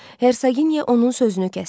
Hersoginya onun sözünü kəsdi.